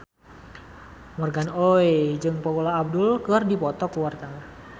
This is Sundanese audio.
Morgan Oey jeung Paula Abdul keur dipoto ku wartawan